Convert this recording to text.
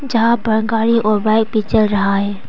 जहां पर गाड़ी और बाइक भी चल रहा है।